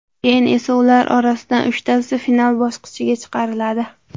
Keyin esa ular orasidan uchtasi final bosqichiga chiqariladi.